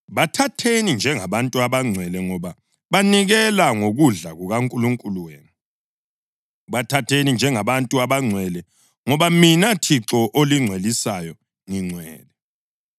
Bathatheni njengabantu abangcwele ngoba banikela ngokudla kukaNkulunkulu wenu. Bathatheni njengabantu abangcwele ngoba mina Thixo olingcwelisayo ngingcwele.